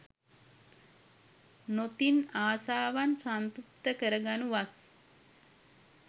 නොතිත් ආශාවන් සංතෘප්ත කර ගනු වස්